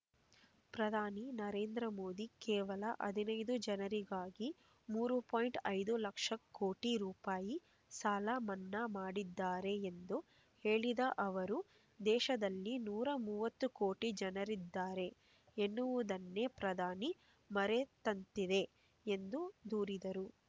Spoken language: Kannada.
ಪ್ರಧಾನಿ ನರೇಂದ್ರ ಮೋದಿ ಕೇವಲ ಹದಿನೈದು ಜನರಿಗಾಗಿ ಮೂರು ಪಾಯಿಂಟ್ ಐದು ಲಕ್ಷ ಕೋಟಿ ರೂಪಾಯಿ ಸಾಲ ಮನ್ನಾ ಮಾಡಿದ್ದಾರೆ ಎಂದು ಹೇಳಿದ ಅವರು ದೇಶದಲ್ಲಿ ನೂರ ಮೂವತ್ತು ಕೋಟಿ ಜನರಿದ್ದಾರೆ ಎನ್ನುವುದನ್ನೇ ಪ್ರಧಾನಿ ಮರೆತಂತಿದೆ ಎಂದು ದೂರಿದರು